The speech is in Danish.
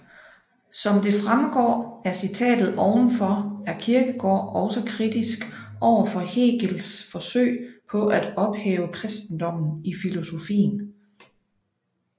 Som det fremgår af citatet ovenfor er Kierkegaard også kritisk overfor Hegels forsøg på at ophæve kristendommen i filosofien